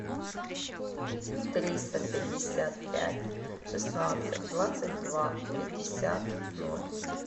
триста пятьдесят пять шестнадцать двадцать два пятьдесят ноль